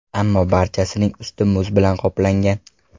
Ammo barchasining usti muz bilan qoplangan.